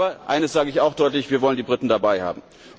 Aber eines sage ich auch deutlich Wir wollen die Briten dabei haben!